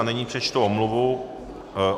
A nyní přečtu omluvu.